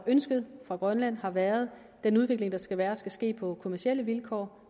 ønsket fra grønland har været at den udvikling der skal være skal ske på kommercielle vilkår